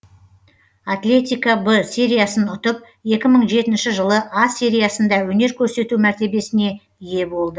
атлетико б сериясын ұтып екі мың жетінші жылы а сериясында өнер көрсету мәртебесіне ие бол